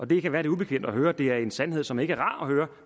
det kan være lidt ubekvemt at høre det er en sandhed som ikke er rar at høre